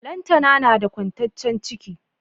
Lantana nada kwantaccen ciki